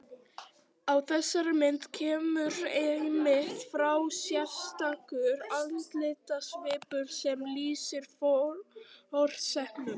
Á þessari mynd kemur einmitt fram sérstakur andlitssvipur sem lýsir forsetanum.